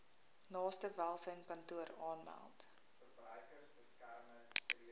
naaste welsynskantoor aanmeld